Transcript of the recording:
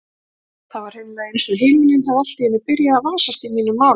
Það var hreinlega einsog himinninn hefði allt í einu byrjað að vasast í mínum málum.